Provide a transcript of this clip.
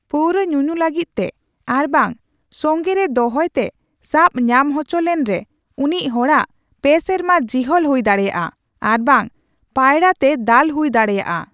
ᱯᱟᱹᱣᱨᱟᱹ ᱧᱩᱧᱩ ᱞᱟᱹᱜᱤᱫᱛᱮ ᱟᱨᱵᱟᱝ ᱥᱚᱱᱜᱮᱨᱮ ᱫᱚᱦᱚᱭᱛᱮ ᱥᱟᱵ ᱧᱟᱢ ᱦᱚᱪᱚ ᱞᱮᱱᱨᱮ, ᱩᱱᱤ ᱦᱚᱲᱟᱜ ᱯᱮᱼᱥᱮᱨᱢᱟ ᱡᱤᱦᱟᱹᱞ ᱦᱩᱭ ᱫᱟᱲᱮᱭᱟᱜᱼᱟ ᱟᱨᱵᱟᱝ ᱯᱟᱭᱲᱟᱛᱮ ᱫᱟᱞ ᱦᱩᱭ ᱫᱟᱲᱮᱭᱟᱜᱼᱟ ᱾